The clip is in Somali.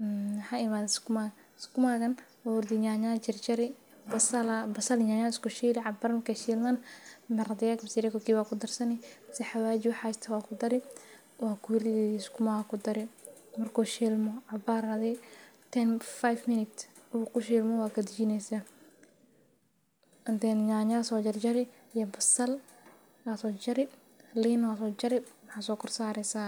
nyanya aya kudareysa cabar marki ee shilman maxaa kudareysa xawaji kadib maxa kudareysa marki ee ahilman waa kadajineysa malalayda aya so kor sari sas aya